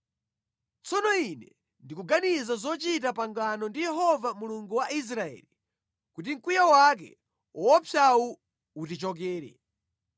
Tsono ine ndikuganiza zochita pangano ndi Yehova Mulungu wa Israeli, kuti mkwiyo wake woopsawu utichokere.